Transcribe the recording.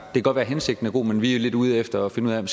godt være hensigten er god men vi er lidt ude efter at finde ud af om